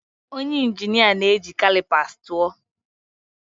Onye injinia na-eji calipers tụọ.